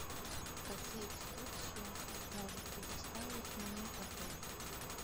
какие экскурсии может предоставить мне отель